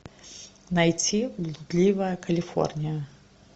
найти блудливая калифорния